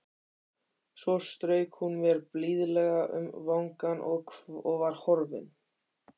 Svo strauk hún mér blíðlega um vangann og var horfin.